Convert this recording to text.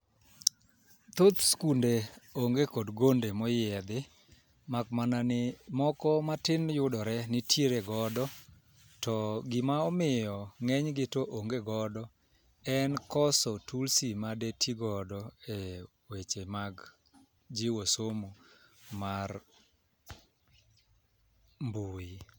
Thoth skunde onge kod gonde moyiedhi mak mana ni moko matin yudore nitiere godo to gima omiyo ng'eny gi to onge godo en koso tulsi made tii godo e weche mag jiwo somo mar mbui.